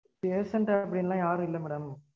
patient ஆ அப்படீன்லாம் யாரும் இல்ல madam